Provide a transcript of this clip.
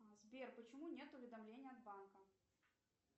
сбер почему нет уведомления от банка